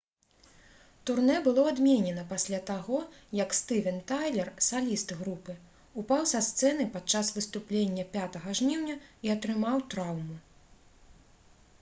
турнэ было адменена пасля таго як стывен тайлер саліст групы упаў са сцэны падчас выступлення 5 жніўня і атрымаў траўму